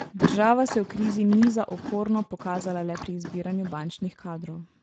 Država se v krizi ni za okorno pokazala le pri izbiranju bančnih kadrov.